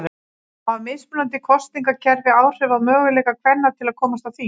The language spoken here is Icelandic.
Hafa mismunandi kosningakerfi áhrif á möguleika kvenna til að komast á þing?